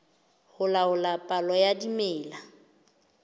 ho laola palo ya dimela